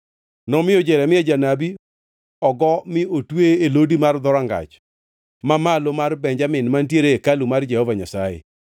nomiyo Jeremia janabi ogo mi otweye e lodi mar Dhorangach Mamalo mar Benjamin mantiere e hekalu mar Jehova Nyasaye.